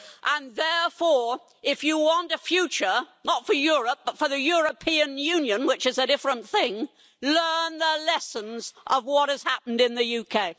And therefore if you want a future not for Europe, but for the European Union, which is a different thing learn the lessons of what has happened in the UK.